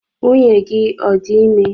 Nwunye gi ọ dị ime?